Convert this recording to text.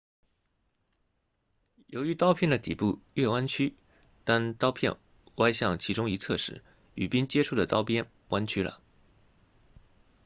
由于刀片的底部略弯曲当刀片歪向其中一侧时与冰接触的刀边弯曲了